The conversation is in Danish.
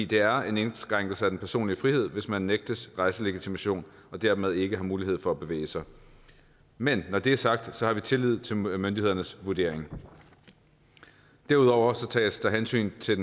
det er en indskrænkelse af den personlige frihed hvis man nægtes rejselegitimation og dermed ikke har mulighed for at bevæge sig men når det er sagt har vi tillid til myndighedernes vurdering derudover tages der hensyn til